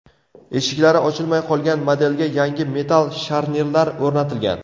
Eshiklari ochilmay qolgan modelga yangi metall sharnirlar o‘rnatilgan.